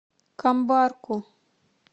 камбарку